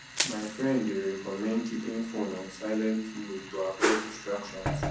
my friend dey recommend keeping phone on silent mode to avoid distractions